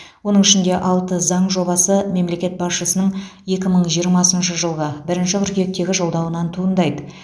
оның ішінде алты заң жобасы мемлекет басшысының екі мың жиырмасыншы жылғы бірінші қыркүйектегі жолдауынан туындайды